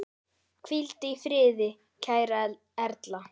Hvíldu í friði kæra Erla.